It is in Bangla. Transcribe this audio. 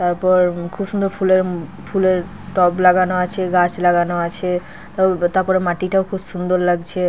তারপর খুব সুন্দর ফুলের-ফুলের টব লাগানো আছে গাছ লাগানো আছে। তারপরে মাটিটাও খুব সুন্দর লাগছে।